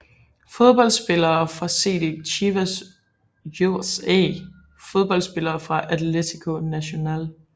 Fodboldspillere fra CD Chivas USA Fodboldspillere fra Atlético Nacional